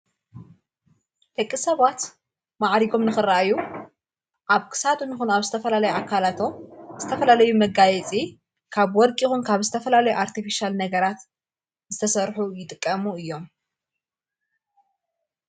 ደቂ ሰባት መዓሪጎም ንኽረአዩ ኣብ ክሳዱ ምኹኑ ኣብ ስተፈላለይ ኣካላቶ ስተፈላለዩ መጋይጺ ካብ ወርቂ ኢኹን ካብ ዝተፈላለይ ኣርቲፊሻል ነገራት ዝተሠርሑ ይጥቀሙ እዮም።